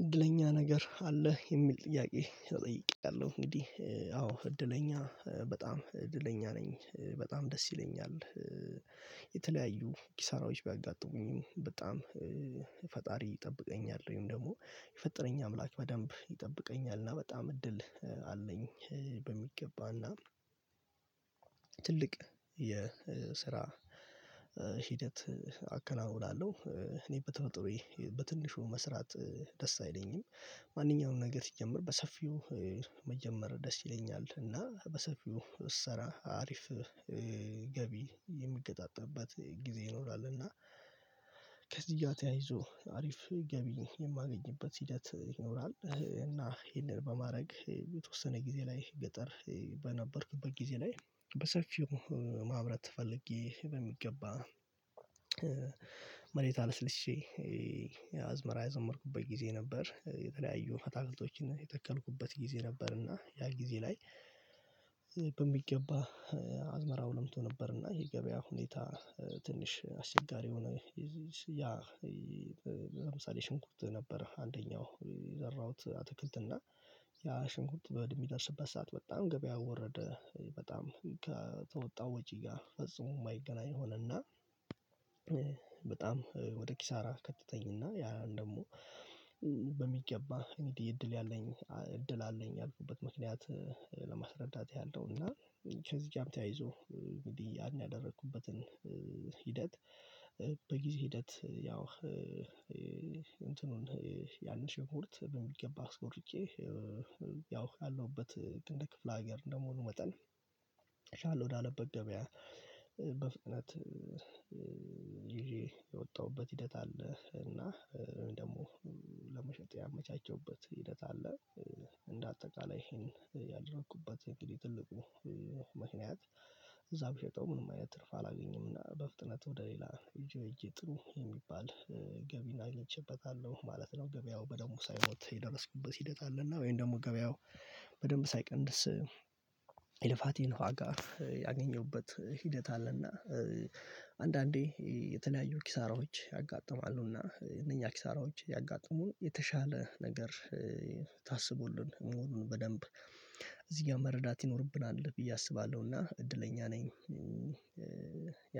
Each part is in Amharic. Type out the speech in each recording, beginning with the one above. እድለኛ ነገር አለ የሚል ጥያቄ ተጠይቄያለሁ እንግዲህ አዎ እድለኛ በጣም እድለኛ ነኝ በጣም ደስ ይለኛል። የተለያዩ ኪሳራዎች ቢያጋጥሙኝም በጣም ፈጣሪ ይጠብቀኛል ወይም ደግሞ የፈጠረኝ አምላክ በደንብ ይጠብቀኛል እና በጣም እድል አለኝ። በሚገባና ትልቅ የስራ ሂደት አከናውናለሁ እኔ በተፈጥሮዬ በትንሹ መስራት ደስ አይለኝም። ማንኛውንም ነገር ሲጀመር በሰፊው መጀመር ደስ ይለኛል እና በሰፊው እሰራ አሪፍ። ገቢ የሚገጣጠምበት ጊዜ ይኖራልና ከዚያ እያተያይዞ አሪፍ ገቢ የማገኝበት ሂደት ይኖራል። እና ይሄንን በማድረግ የተወሰነ ጊዜ ላይ ገጠር በነበርኩበት ጊዜ ላይ በሰፊው ማምረት ተፈልጌ በሚገባ መሬት አልሰልሼ አዝመራ የዘመርኩበት ጊዜ የተለያዩ አታክልቶችን የተከልኩበት ጊዜ ነበር። እና ያ ጊዜ ላይ በሚገባ አዝመራው ለምቶ ነበር እና የገበያ ሁኔታ ትንሽ አስቸጋሪ የሆነ ይሄ ያ ለምሳሌ ሽንኩርት ነበረ። አንደኛው የዘራሁት አትክልትና ያ ሽንኩርት በደነብየሚደርስበት ሰዓት በጣም ገበያ ወረደ በጣም ከተወጣው ወጪ ጋር ፈጽሞ የማይገናኝ ሆነና። በጣም ወደ ኪሳራ ከተተኝና ያ ደግሞ እኔ እድል ያለኝ እድል አለኝ ያልኩበት ምክንያት ለማስረዳት ያለው እና ከዚህ ጋርም ተያይዞ ያን ያደረኩበትን ሂደት በጊዜ ሂደት ያው እንትኑን ያንን ሽኩርት በሚገባ አስቆርጨ ያው ያለሁበት እንደ ክፍለ ሀገር እንደመሆኑ መጠን እችላለሁ ወደ አለበት ገበያ በፍጥነት ይዤ የወጣሁበት ሂደት አለ። እና ወይ ደግሞ ለመሸጥ ያመቻቸውበት ሂደት አለ። እንደ አጠቃላይ ይሄን ያደረኩበት እንግዲህ ትልቁ እዛው ብሸጠው ምንም አይነት ትርፍ አላገኘም እና በፍጥነት ወደ ሌላ እጄ እጄ ጥሩ የሚባል ገቢን አግኝቼበታለሁ ማለት ነው። ገበያው በደሙ ሳይሞት የደረስኩበት ሲደጣልና ወይም ደግሞ ገበያው በደንብ ሳይቀንስ የልፋቴን ዋጋ ያገኘሁበት ሂደት አለና። አንዳንዴ የተለያዩ ኪሳራዎች ያጋጥማሉ እና እነኛ ኪሳራዎች ያጋጥሙን የተሻለ ነገር ታስቦልን መሆኑን በደንብ እዚህ ጋር መረዳት ይኖርብናል ብዬ አስባለሁና እና እድለኛ ነኝ።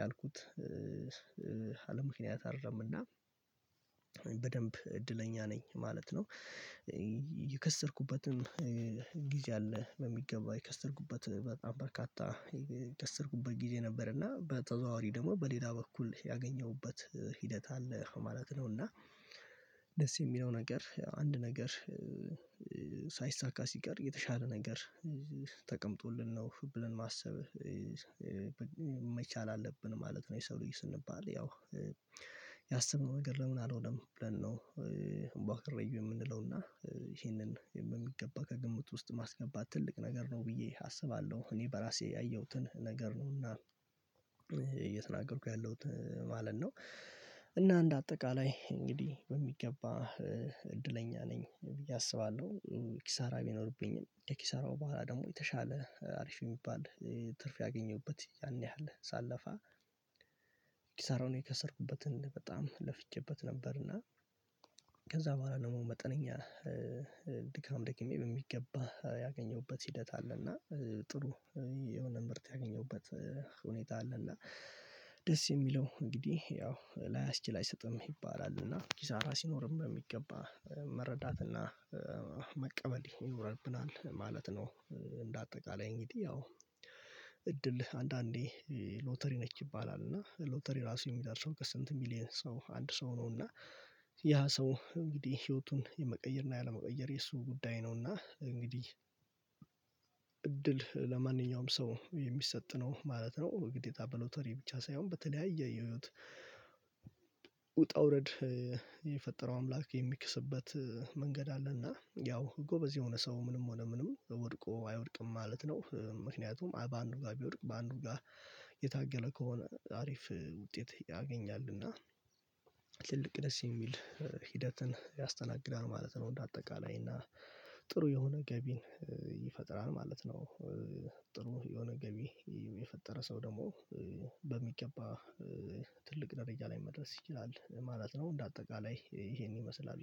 ያልኩት አለምክንያት አይደለም እና በደንብ እድለኛ ነኝ ማለት ነው። የከሰርኩበትም ጊዜ አለ በሚገባ የከስተርኩበት በጣም በርካታ የከስተርኩበት ጊዜ ነበር እና በተዘዋዋሪ ደግሞ በሌላ በኩል ያገኘሁበት ሂደት አለ ማለት ነው። እና ደስ የሚለው ነገር አንድ ነገር ሳይሳካ ሲቀር የተሻለ ነገር ተቀምጦልን ነው ብለን ማሰብ መቻል አለብን ማለት ነው። የሰው ልጅ ስንባል ያው ያሰብነው ነገር ለምን አልሆነም ብለን ነው እምቧ ክረዩ የምንለው እና ይሄንን የሚገባ ከግምት ውስጥ ማስገባት ትልቅ ነገር ነው። ብዬ አስባለሁ እኔ በራሴ ያየሁትን ነገር ነው እና እየተናገርኩ ያለሁት ማለት ነው። እና እንደ አጠቃላይ እንግዲህ በሚገባ እድለኛ ነኝ ብዬ አስባለሁ። ኪሳራ ቢኖርብኝም ከኪሳራው በኋላ ደግሞ የተሻለ አሪፍ የሚባል ትርፍ ያገኘሁበት ያን ያህል ሳለፋ ኪሳራውን የከሰርኩበትን በጣም ለፍቼበት ነበርና። ከዛ በኋላ ደግሞ መጠነኛ ድካም ደክሜ በሚገባ ያገኘውበት ሂደት አለና ጥሩ የሆነ ምርት ያገኘውበት ሁኔታ አለና ደስ የሚለው እንግዲህ ያው ላይ አስችል አይሰጥም ይባላል እና ኪሳራ ሲኖርም በሚገባ መረዳት መረዳትና መቀበል ይኖርብናል ማለት ነው። እንደ አጠቃላይ እንግዲህ ያው አንዳንዴ ሎተሪ ነች ይባላል እና ሎተሪ ራሱ የሚደርሰው ከስንት ሚሊየን ሰው አንድ ሰው ነውና ያ ሰው እንግዲህ ህይወቱን የመቀየር እና ያለመቀየር የእሱ ጉዳይ ነውና እንግዲህ እድል ለማንኛውም ሰው የሚሰጥ ነው ማለት ነው። ግዴታ በሎተሪ ብቻ ሳይሆን በተለያየ የህይወት ውጣ ውረድ የፈጠረው አምላክ የሚክስበት መንገድ አለና ያው ጎበዝ የሆነ ሰው ምንም ሆነ ምንም ወድቆ አይወድቅም ማለት ነው ምክንያቱም በአንዱ ጋር ቢወድቅ በአንዱ ጋር የታገለ ከሆነ አሪፍ ውጤት ያገኛልና። ትልቅ ደስ የሚል ሂደትን ያስተናግዳል ማለት ነው። እንደ አጠቃላይ እና ጥሩ የሆነ ገቢን ይፈጥራል ማለት ነው። ጥሩ የሆነ ገቢ የፈጠረ ሰው ደግሞ በሚገባ ትልቅ ደረጃ ላይ መድረስ ይችላል ማለት ነው። እንደ አጠቃላይ ይሄን ይመስላል ግን